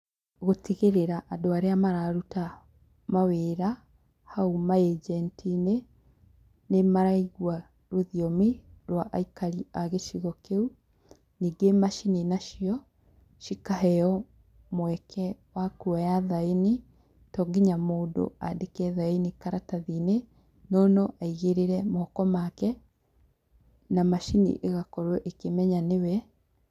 Gũtigĩrĩra andũ arĩa mararuta mawĩra hau anjenti-inĩ, nĩ maraigua rũthiomi rwa aikari a gĩcigo kĩu. Ningĩ macini nacio, cikaheo mweke wa kuoya thaini. To nginya mũndũ aandĩke thaini karatathi-inĩ, no no aigĩrĩre moko make, na macini ĩgakorwo ĩkĩmenya nĩ we.